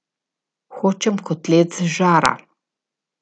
Hočem kotlet z žara.